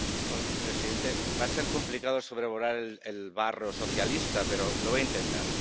Señor presidente, va a ser complicado sobrevolar el barro socialista, pero lo voy a intentar.